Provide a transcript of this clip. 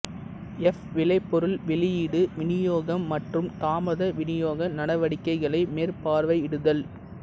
F விளைபொருள் வெளியீடு விநியோகம் மற்றும் தாமத விநியோக நடவடிக்கைகளை மேற்பார்வையிடுதல்